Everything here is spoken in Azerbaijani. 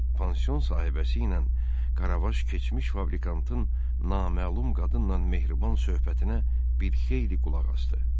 Pansion sahibəsi ilə Karavaş keçmiş fabrikantın naməlum qadınla mehriban söhbətinə bir xeyli qulaq asdı.